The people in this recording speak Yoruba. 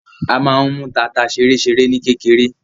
A máa n mú tanta ṣeréṣeré ní kékeré.